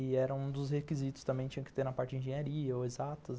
E era um dos requisitos também que tinha que ter na parte de engenharia ou exatas.